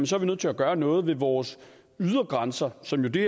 så er nødt til at gøre noget ved vores ydre grænser som det